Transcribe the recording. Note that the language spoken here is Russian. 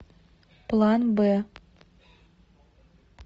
план б